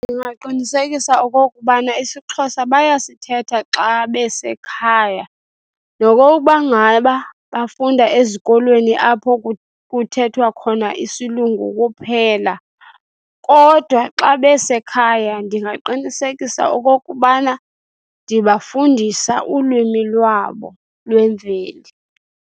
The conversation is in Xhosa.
Ndingaqinisekisa okokubana isiXhosa bayasithetha xa besekhaya nokokuba ngaba bafunda ezikolweni apho kuthethwa khona isilungu kuphela. Kodwa xa besekhaya ndingaqinisekisa okokubana ndibafundisa ulwimi lwabo lwemveli.